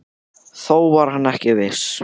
Þó var hann ekki viss.